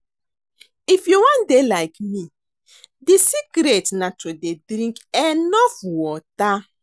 If you wan dey like me the secret na to dey drink enough water